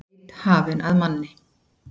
Leit hafin að manni